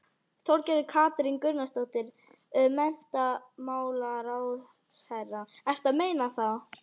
Þorgerður Katrín Gunnarsdóttir, menntamálaráðherra: Ertu að meina þá?